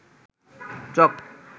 চক